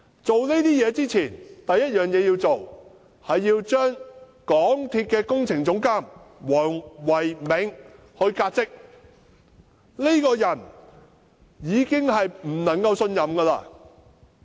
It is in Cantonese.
做這些工作之前，首先要把港鐵公司工程總監黃唯銘革職，因為這個人已經不能信任。